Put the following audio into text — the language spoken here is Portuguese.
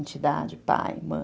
Entidade, pai, mãe.